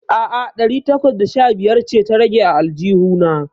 A'a, ɗari takwas da sha biyar ce ta rage a aljihu na.